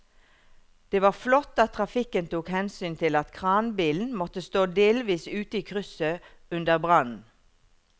Det var flott at trafikken tok hensyn til at kranbilen måtte stå delvis ute i krysset under brannen.